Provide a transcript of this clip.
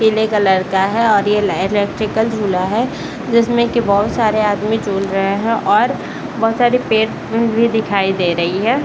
पिले कलर का है और ये लै इलेक्ट्रिकल झूला है जिसमें की बहुत सारे आदमी झूल रहे हैं और बहुत सारे पेड़ पु भी दिखाई दे रही है ।